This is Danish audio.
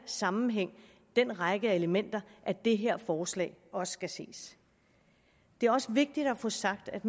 sammenhæng den række af elementer at det her forslag også skal ses det er også vigtigt at få sagt at